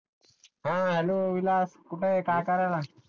hello Vilas कुठ आहे काय कराला